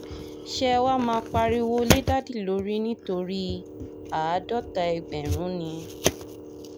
ṣé ẹ wáá máa pariwo lé dádì lórí nítorí àádọ́ta ẹgbẹ̀rún ni